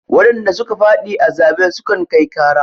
Wadanda suka fadi a zaɓe sukan kai ƙara.